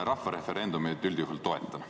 Mina referendumeid üldjuhul toetan.